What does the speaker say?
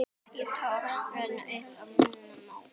Ekki tókst að upplýsa málið.